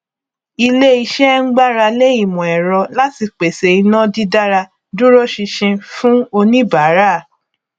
iléiṣẹ ń gbáralé ìmọẹrọ láti pèsè iná dídára dúróṣinṣin fún oníbàárà